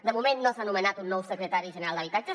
de moment no s’ha nomenat un nou secretari general d’habitatge